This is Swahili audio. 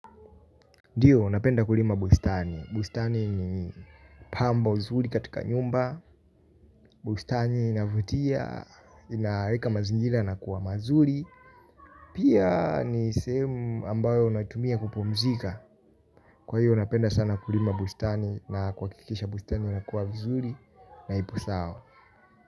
Ndiyo napenda kulima bustani, bustani ni pambo zuri katika nyumba, bustani inavutia, inaweka mazingira yanakuwa mazuri. Pia ni sehemu ambayo unatumia kupumzika. Kwa hiyo napenda sana kulima bustani na kwa kikisha bustani inakuwa vizuri na ipo sawa.